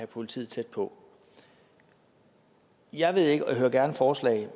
politiet tæt på jeg ved ikke og jeg hører gerne forslag